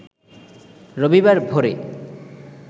রবিবার ভোরে